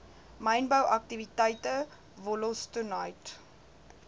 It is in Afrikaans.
mynbou aktiwiteite wollostonite